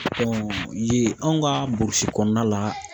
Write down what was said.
yen anw ka burusi kɔnɔna la